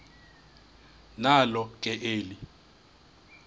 nalo ke eli